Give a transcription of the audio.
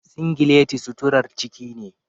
singileti suturar ciki ne.